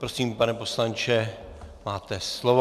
Prosím, pane poslanče, máte slovo.